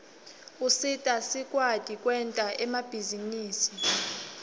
usita sikwati kwenta emabhizinisi